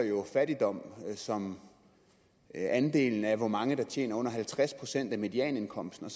fattigdom som andelen af hvor mange der tjener under halvtreds procent af medianindkomsten og